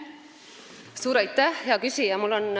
Suur aitäh, hea küsija!